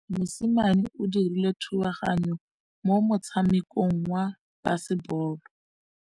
Mosimane o dirile thubaganyô mo motshamekong wa basebôlô.